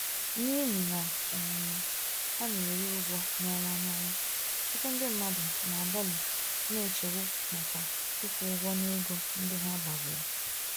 N'ihi na um ha n'eri ụgwọ n'ọnwa n'ọnwa, ọtụtụ ndị mmadụ na-adọlị na nchegbu maka ịkwụ ụgwọ na ego ndị ha gbaziri.